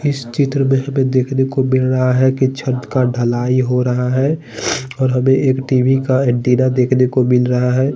इस चित्र में हमें देखने को मिल रहा है कि छत का ढलाई हो रहा है और हमें एक टी_वी का एंटीना देखने को मिल रहा है।